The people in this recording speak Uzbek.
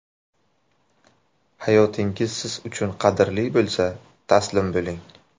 Hayotingiz siz uchun qadrli bo‘lsa, taslim bo‘ling.